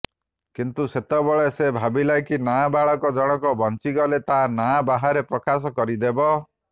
କିନ୍ତୁ ସେତେବେଳେ ସେ ଭାବିଲା କି ନାବାଳକ ଜଣଙ୍କ ବଞ୍ଚିଗଲେ ତା ନାଁ ବାହାରେ ପ୍ରକାଶ କରିଦେବ